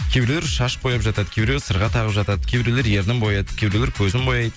кейбіреулер шаш бояп жатады кейбіреулер сырға тағып жатады кейбіреулер ернін бояйды кейбіреулер көзін бояйды